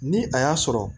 Ni a y'a sɔrɔ